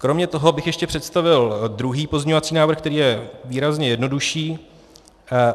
Kromě toho bych ještě představil druhý pozměňovací návrh, který je výrazně jednodušší.